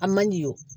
A man di o